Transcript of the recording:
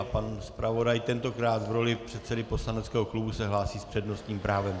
A pan zpravodaj tentokrát v roli předsedy poslaneckého klubu se hlásí s přednostním právem.